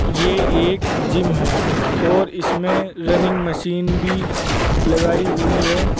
ये एक जिम है और इसमें रनिंग मशीन भी लगाई हुई है।